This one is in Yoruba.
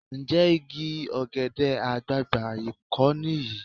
Ǹjẹ́ igi ọ̀gẹ̀dẹ̀ àgbààgbà kọ́ nìyí?